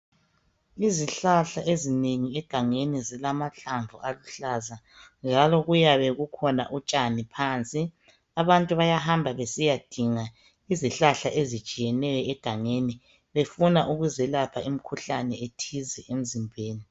Izihlahla ezinengi egangeni zilamahlamvu aluhlaza njalo kuyabe kukhona utshani phansi. Abantu bayahamba besiyadinga izihlahla ezitshiyeneyo egangeni befuna ukuzelapha imikhuhlane ethize emzimbeni.